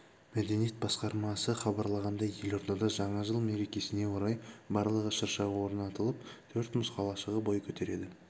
мәдениет басқармасыхабарлағандай елордада жаңа жыл мерекесіне орай барлығы шырша орнатылып төрт мұз қалашығы бой көтереді